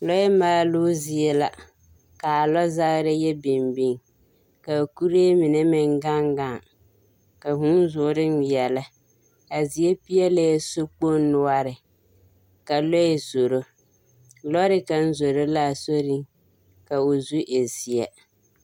Lɔɛ maaloo zie la ka a lɔzagerea biŋ biŋ, ka kuree mine meŋ gaŋ gaŋ, ka huu zoore ŋmeɛlɛ, a zie peɛlɛɛ sokpoŋ noɔre, ka lɔɛ zoro, lɔɔre kaŋa zoro la a soriŋ ka o zu e zeɛ.